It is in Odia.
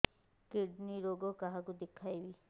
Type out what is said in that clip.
କିଡ଼ନୀ ରୋଗ କାହାକୁ ଦେଖେଇବି